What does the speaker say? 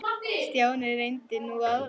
Stjáni reyndi nú aðra leið.